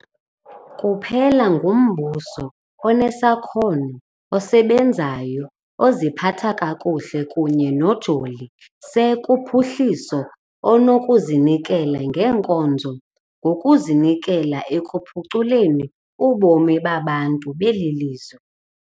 Kuphela ngumbuso onesakhono, osebenzayo, oziphatha kakuhle kunye nojoli se kuphuhliso onokuzinikela ngeenkonzo ngokuzinikela ekuphuculeni ubomi babantu beli lizwe.